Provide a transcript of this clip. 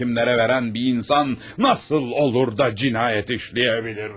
timlere veren bir insan nasıl olur da cinayet işleyebilir?